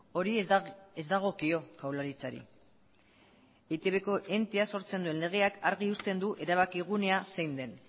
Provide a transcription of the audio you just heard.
hori ez dagokio jaurlaritzari eitbko entea sortzen duen legeak argi uzten du erabaki gunea zein den